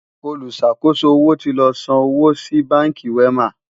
oluṣàkoso owó tí ló sàn owó sí bánkì wema